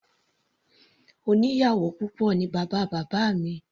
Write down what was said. Oníyàwò púpọ̀ ní bàbá bábá mi.